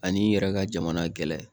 Ani i yɛrɛ ka jamana gɛlɛn